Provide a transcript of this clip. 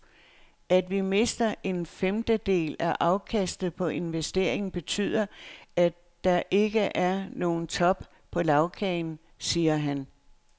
At vi mister en femtedel af afkastet på investeringen betyder, at der ikke er nogen top på lagkagen, siger han.